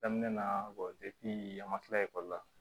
Daminɛ na an ma kila la